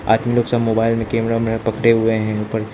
हाथ में सब मोबाइल में कैमरा कैमरा पड़े हुए हैं ऊपर--